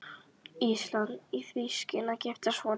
Íslands í því skyni að giftast honum.